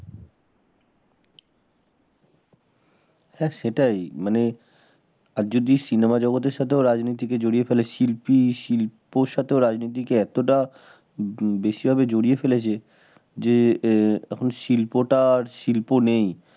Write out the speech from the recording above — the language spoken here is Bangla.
হ্যাঁ সেটাই মানে আর যদি cinema জগতের সাথেও যদি রাজনীতি কে জড়িয়ে ফেলে শিল্পী শিল্পের সাথেও রাজনীতির সাথে এতটা বেশি ভাবে জড়িয়ে ফেলেছে যে এ শিল্প টা শিল্প নেই